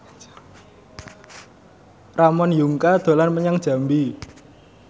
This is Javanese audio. Ramon Yungka dolan menyang Jambi